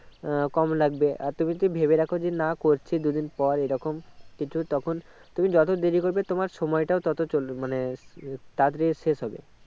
আহ কম লাগবে আর তুমি যদি ভেবে রাখো না করছি দুদিন পর এই রকম কিছু তখন তুমি যত দেরি করবে তোমার সময়টা তত চলে মানে তাড়াতাড়ি শেষ হবে